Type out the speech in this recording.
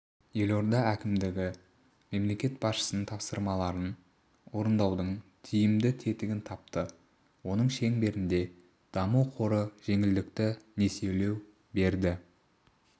елорда әкімдігі мемлекет басшысының тапсырмаларын орындаудың тиімді тетігін тапты оның шеңберінде даму қоры жеңілдікті несиелеу берді